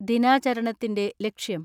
ദിനാചരണത്തിന്റെ ലക്ഷ്യം.